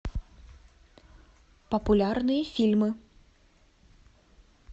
популярные фильмы